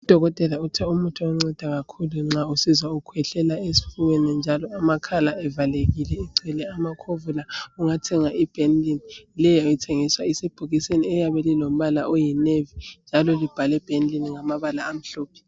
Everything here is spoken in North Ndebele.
Udokotela uthe umuthi onceda kakhulu nxa usizwa ukhwehlela esifubeni njalo amakhala evalekike egcwele amakhovula ungathenga iBenylin leyo ithengiswa isebhokisini eliyabe lilombala oyi navy njalo libhalwe Benylin ngamabala amhlophe.